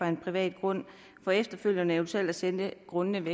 en privat grund for efterfølgende eventuelt at sælge grunden